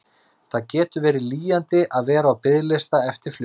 Það getur verið lýjandi að vera á biðlista eftir flugi.